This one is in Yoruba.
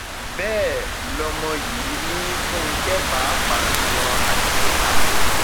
ṣebí gbogbo ẹ lè ṣàfihàn rẹ lórí tẹlifíṣàn yín yìí